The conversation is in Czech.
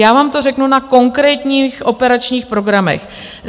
Já vám to řeknu na konkrétních operačních programech.